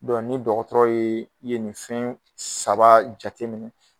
ni dɔgɔtɔrɔ ye ye nin fɛn saba jateminɛ